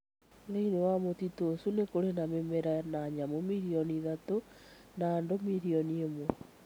Thĩinĩ wa mũtitũ ũcio nĩ kũrĩ na mĩmera na nyamũ milioni ithatũ na andũ milioni ĩmwe.